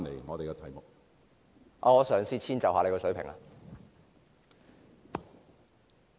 我會嘗試遷就主席的水平。